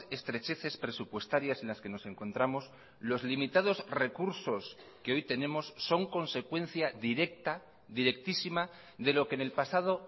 estrecheces presupuestarias en las que nos encontramos los limitados recursos que hoy tenemos son consecuencia directa directísima de lo que en el pasado